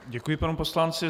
Děkuji panu poslanci.